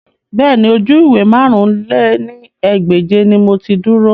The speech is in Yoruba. Bẹ́ẹ̀ni, oju-iwe màrún lé ní ẹgbẹ́je ni mo ti duro